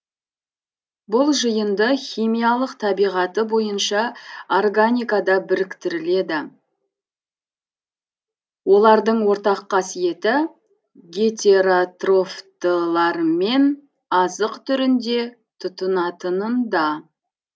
бұл жиынды химиялық табиғаты бойынша органикада біріктіріледі олардың ортақ қасиеті гетеротрофтылармен азық түрінде тұтынатынында